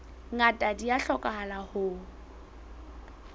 ngata di a hlokahala ho